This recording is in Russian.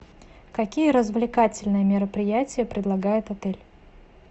какие развлекательные мероприятия предлагает отель